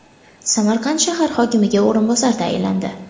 Samarqand shahar hokimiga o‘rinbosar tayinlandi.